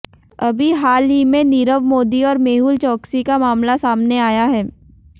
अभी हाल ही में नीरव मोदी और मेहुल चोकसी का मामला सामने आया है